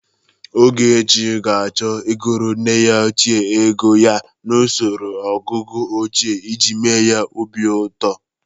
Ogechi ga-achọ ịgụrụ nne ya ochie ego ya n'osoro ọgụgụ ochie iji mee ya obi ụtọ.